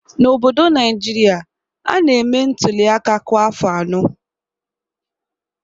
N'obodo Naịjirịa, a na-eme ntuli aka kwa afọ anọ